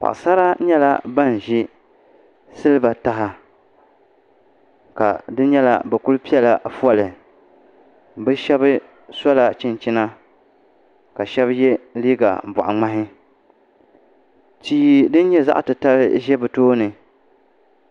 Paɣasara nyɛla ban ʒi siliba taha ka di nyɛla bi ku piɛla foli bi shab sola chinchina ka shab yɛ liiga boɣa ŋmahi tii din nyɛ zaɣ titali ʒɛ bi tooni